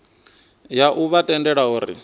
ya u vha tendela uri